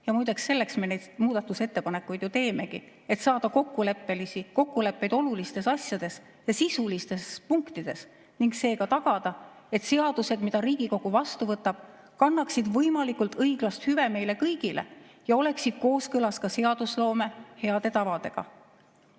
Ja muideks, selleks me neid muudatusettepanekuid ju teemegi, et saada kokkuleppeid olulistes asjades ja sisulistes punktides ning seega tagada, et seadused, mida Riigikogu vastu võtab, kannaksid võimalikult õiglast hüve meile kõigile ja oleksid kooskõlas ka seadusloome heade tavadega.